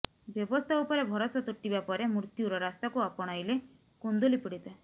ବ୍ୟବସ୍ଥା ଉପରେ ଭରସା ତୁଟିବା ପରେ ମୃତ୍ୟୁର ରାସ୍ତାକୁ ଆପଣାଇଲେ କୁନ୍ଦୁଲି ପୀଡିତା